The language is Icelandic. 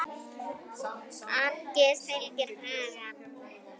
Angist fyllir hugann.